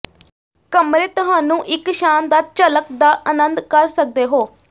ਕਮਰੇ ਤੁਹਾਨੂੰ ਇੱਕ ਸ਼ਾਨਦਾਰ ਝਲਕ ਦਾ ਆਨੰਦ ਕਰ ਸਕਦੇ ਹੋ